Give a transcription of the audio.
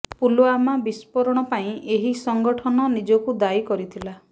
ପୁଲୱାମା ବିସ୍ଫୋରଣ ପାଇଁ ଏହି ସଂଗଠନ ନିଜକୁ ଦାୟୀ କରିଥିଲା